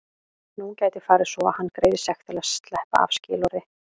Nú gæti farið svo að hann greiði sekt til að sleppa af skilorði.